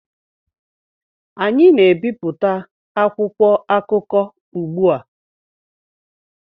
anyị na-ebipụta akwụkwọ akụkọ ugbu a